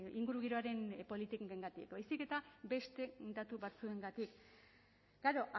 ingurugiroaren politikengatik baizik eta beste datu batzuengatik klaro